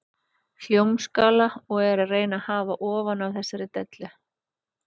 Hljómskála og er að reyna að hafa hann ofan af þessari dellu.